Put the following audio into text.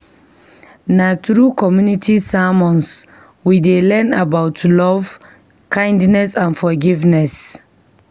Na through community sermons, we dey learn about love, kindness, and forgiveness.